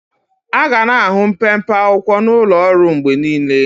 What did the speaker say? Aga na-ahụ mpempe akwụkwọ n'ụlọ ọrụ mgbe niile.